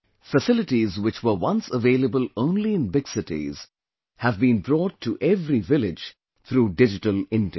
Facilities which were once available only in big cities, have been brought to every village through Digital India